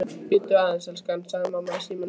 Bíddu aðeins, elskan, sagði mamma í símann.